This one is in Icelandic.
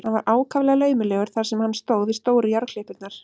Hann var ákaflega laumulegur þar sem hann stóð við stóru járnklippurnar.